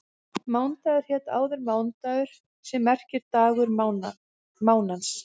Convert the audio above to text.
Mánudagur hét áður mánadagur sem merkir dagur mánans.